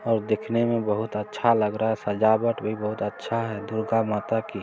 और देखने मे बहुत अच्छा लग रहा है सजावट भी बहुत अच्छा है दुर्गा माता की--